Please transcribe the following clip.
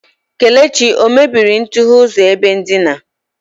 Kelechi o mebiri ntughe ụzọ ebe ndina?